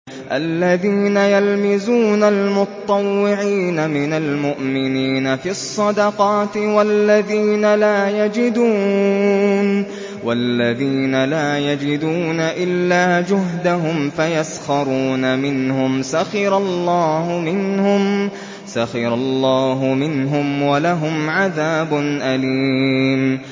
الَّذِينَ يَلْمِزُونَ الْمُطَّوِّعِينَ مِنَ الْمُؤْمِنِينَ فِي الصَّدَقَاتِ وَالَّذِينَ لَا يَجِدُونَ إِلَّا جُهْدَهُمْ فَيَسْخَرُونَ مِنْهُمْ ۙ سَخِرَ اللَّهُ مِنْهُمْ وَلَهُمْ عَذَابٌ أَلِيمٌ